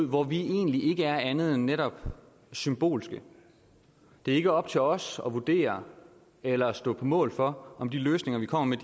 hvor vi egentlig ikke er andet end netop symbolske det er ikke op til os at vurdere eller stå på mål for om de løsninger vi kommer med